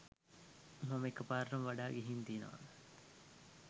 මම ඒක පාරට වඩා ගිහිං තියනවා.